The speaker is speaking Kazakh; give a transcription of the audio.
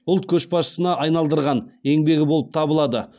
ұлт көшбасшысына айналдырған еңбегі болып табылады